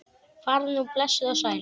Farðu nú blessuð og sæl.